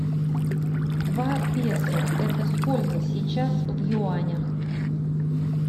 два песо это сколько сейчас в юанях